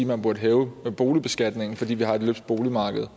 man burde hæve boligbeskatningen fordi vi har et løbsk boligmarked